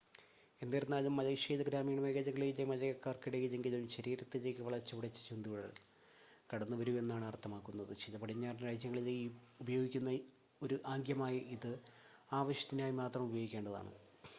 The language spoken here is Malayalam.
"എന്നിരുന്നാലും മലേഷ്യയിൽ ഗ്രാമീണ മേഖലയിലെ മലയക്കാർക്കിടയിലെങ്കിലും ശരീരത്തിലേക്ക് വളച്ചുപിടിച്ച ചൂണ്ടുവിരൽ "കടന്നുവരൂ" എന്നാണ് അർത്ഥമാക്കുന്നത്. ചില പടിഞ്ഞാറൻ രാജ്യങ്ങളിൽ ഉപയോഗിക്കുന്ന ഒരു ആംഗ്യമായ ഇത് ആ ആവശ്യത്തിനായി മാത്രം ഉപയോഗിക്കേണ്ടതാണ്.